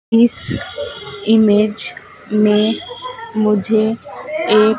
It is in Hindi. इस इमेज में मुझे एक--